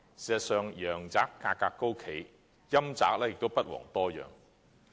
事實上，陽宅價格高企，陰宅也不遑多讓。